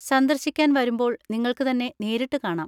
സന്ദർശിക്കാൻ വരുമ്പോൾ നിങ്ങൾക്ക് തന്നെ നേരിട്ട് കാണാം.